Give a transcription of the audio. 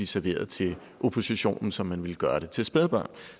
serveret til oppositionen som man ville gøre det til spædbørn